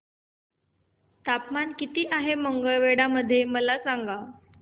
तापमान किती आहे मंगळवेढा मध्ये मला सांगा